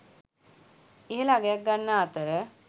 ඉහළ අගයක් ගන්නා අතර